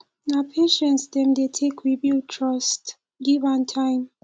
na patience dem dey take rebuild trust give am time